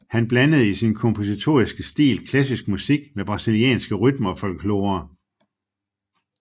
Han blandede i sin kompositoriske stil klassisk musik med brasilianske rytmer og folklore